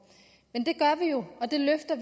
men det gør vi jo og det løfter